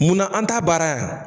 Munna an ta baara yan.